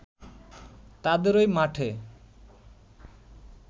তাদেরই মাঠে